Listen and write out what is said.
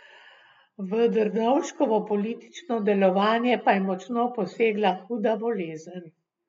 V Drnovškovo politično delovanje pa je močno posegla huda bolezen.